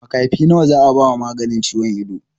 Makafi nawa za a ba maganin ciwon ido?